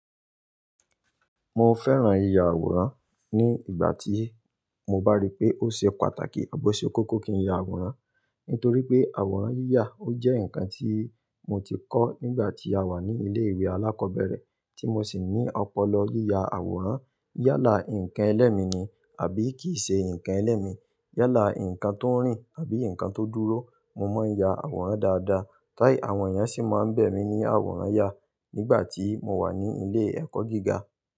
Mo fẹ́ràn yíya àwòrán ní ìgbà tí mo bá rí pé ó ṣe pàtàkì àbọ̀ ṣe kòkò kí n ya àwòrán. Nítorí pé àwòrán yíyà ó jẹ́ nǹkan tí mo ti kọ́ nígbà tí a wà ní ilé ìwé alákọ̀ọ́bẹ̀rẹ̀, tí mo sì ní ọpọlọ yíya àwòrán. Yálà ǹkan ẹlẹ́mi ni àbí kì í ṣe ǹkan ẹlẹ́mi, yálà ǹkan tó ń rìn àbí ǹkan tó dúró, mo máa ń ya àwòrán dáadáa. Táì àwọn èèyàn sì máa ń bẹ̀ mí ní àwòrán ya nígbà tí mo wà ní ilé ẹ̀kọ́ gíga.